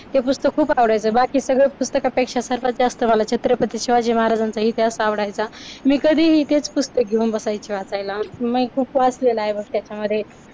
हे पुस्तक खूप आवडायचं. बाकी सगळं सगळ्यात पुस्तकापेक्षा सर्वात जास्त मला छत्रपती शिवाजी महाराजांचा इतिहास आवडायचा. निगडी ते पुस्तक घेऊन बसायचे वाचायला मी सुपात असलेले व त्याच्यामध्ये